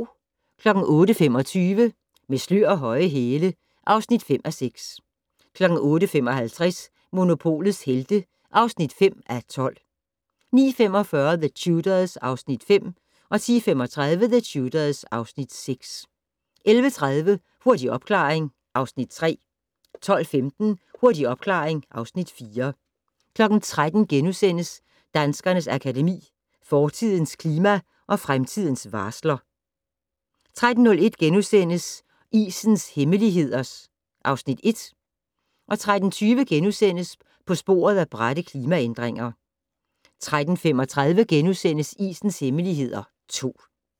08:25: Med slør og høje hæle (5:6) 08:55: Monopolets Helte (5:12) 09:45: The Tudors (Afs. 5) 10:35: The Tudors (Afs. 6) 11:30: Hurtig opklaring (Afs. 3) 12:15: Hurtig opklaring (Afs. 4) 13:00: Danskernes Akademi: Fortidens klima og fremtidens varsler * 13:01: Isens hemmeligheder (1) * 13:20: På sporet af bratte klimaændringer * 13:35: Isens hemmeligheder (2) *